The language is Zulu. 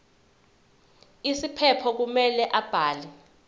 isiphephelo kumele abhale